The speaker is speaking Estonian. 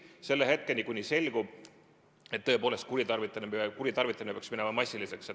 Seda kuni hetkeni, kui selgub, et kuritarvitamine on minemas massiliseks.